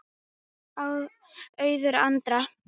Auður Andrea.